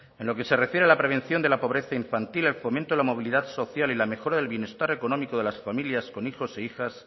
en lo que se refiere a la prevención de la pobreza infantil el fomento de la movilidad social y la mejora del bienestar económico de las familias con hijos e hijas